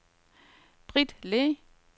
Britt Le